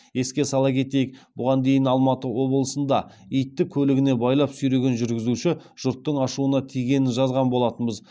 еске сала кетейік бұған дейін алматы облысында итті көлігіне байлап сүйреген жүргізуші жұрттың ашуына тигенін жазған болатынбыз